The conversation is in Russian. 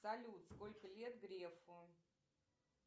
салют сколько лет грефу